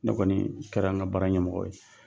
Ne kɔni kɛra an ka baara ɲɛmɔgɔ ye